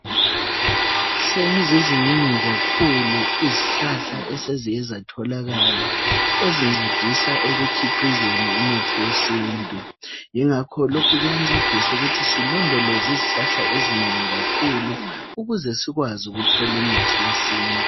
Seziziningi kakhulu izihlahla eseziyezatholakala ezincedisa ekukhiqizeni umuthi wesintu yingakho lokhu kuyancedisa ukuthi silondoloze izihlahla ezinengi kakhulu ukuze sikwazi ukuthola imithi yesintu.